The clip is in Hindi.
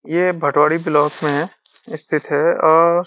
ये भटवाड़ी ब्लॉक में स्थित है और --